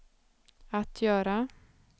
att göra